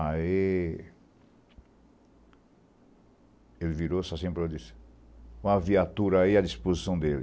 Aí... Ele virou-se assim e falou assim... Põe a viatura aí à disposição dele.